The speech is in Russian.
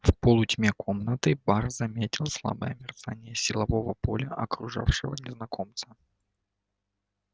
в полутьме комнаты бар заметил слабое мерцание силового поля окружавшего незнакомца